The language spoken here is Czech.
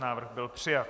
Návrh byl přijat.